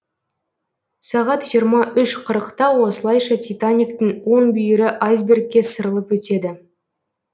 сағат жиырма үш қырықта осылайша титаниктің оң бүйірі айсбергке сырылып өтеді